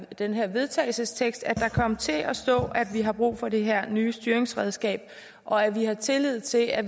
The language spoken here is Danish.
den her vedtagelsestekst altså at der kom til at stå at vi har brug for det her nye styringsredskab og at der er tillid til at